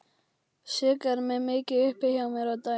Sigga er mikið uppi hjá mér á daginn.